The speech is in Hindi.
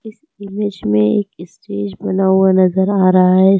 इमेज में एक स्टेज बना हुआ नजर आ रहा है।